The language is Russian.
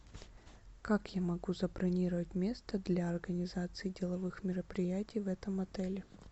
как я могу забронировать место для организации деловых мероприятий в этом отеле